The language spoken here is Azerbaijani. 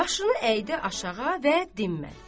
Başını əydi aşağı və dinmədi.